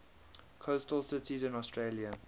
coastal cities in australia